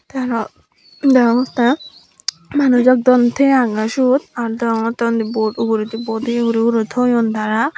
te aaro degongte manusjo don teye agone siyot aaro degongte uni boat ugureni boat ye guri guri toyon tara.